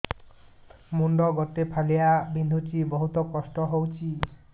ମୁଣ୍ଡ ଗୋଟେ ଫାଳିଆ ବିନ୍ଧୁଚି ବହୁତ କଷ୍ଟ ହଉଚି